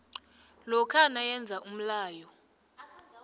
lokha nayenza umlayo